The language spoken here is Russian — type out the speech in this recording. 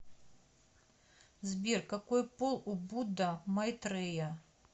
сбер какой пол у будда майтрея